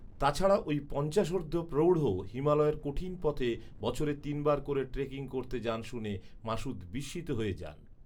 তা ছাড়া ওই পঞ্চাশোর্ধ্ব প্রৌঢ়ও হিমালয়ের কঠিন পথে বছরে তিন বার করে ট্রেকিং করতে যান শুনে মাসুদ বিস্মিত হয়ে যান।